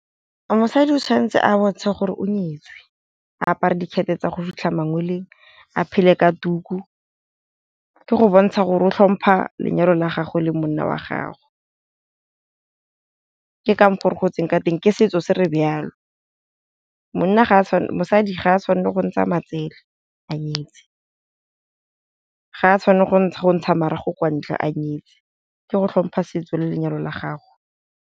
Mosadi o tshwanetse a bontshe gore o nyetswe, a apare dikhethe tsa go fitlha mangwele, a phele ka tuku ke go bontsha gore o tlhompha lenyalo la gagwe le monna wa gagwe, ke ka mokgo re gotseng ka teng ke setso se re jalo. Mosadi ga a tshwanela go ntsha matsele a nyetse, ga a tshwanela go ntsha marago kwa ntle a nyetse ke go tlhompha setso le lenyalo la gago.